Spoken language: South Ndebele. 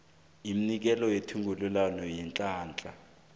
yomnikeli wethungelelwano leenhlahla